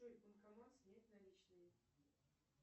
джой банкомат снять наличные